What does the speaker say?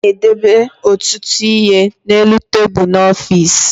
A na-edebe ọtụtụ ihe n'elu tebulu n'ọfiisi